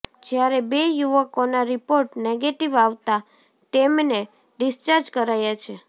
જ્યારે બે યુવકોના રિપોર્ટ નેગેટિવ આવતા તેમને ડિસ્ચાર્જ કરાયા છે